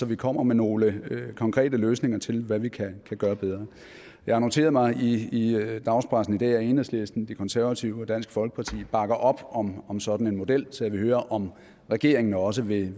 vi kommer med nogle konkrete løsninger til hvad vi kan gøre bedre jeg har noteret mig i i dagspressen i dag at enhedslisten de konservative og dansk folkeparti bakker op om om sådan en model så jeg vil høre om regeringen også vil